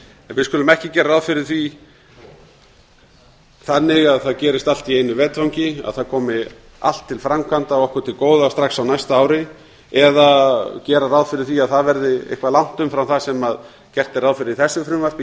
við skulum ekki gera ráð fyrir því þannig að það gerist allt í einu vetfangi að það komi allt til framkvæmdar og okkur til góða strax á næsta ári eða gera ráð fyrir því að það verði eitthvað langt umfram það sem gert er ráð fyrir í þessu frumvarpi